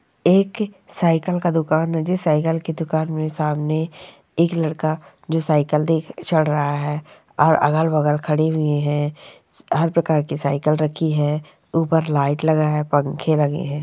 एक साइकल का दुकान मुझे साइकल की दुकान में सामने एक लड़का जो साइकल देख चढ़ रहा है और अगल-बगल खड़ी हुई है हर प्रकार की साइकल रखी है ऊपर लाइट लगा है पंखे लगे है।